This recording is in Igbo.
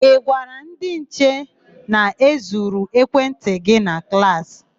Ị gwara ndị nche na e zuru ekwentị gị na klaasị?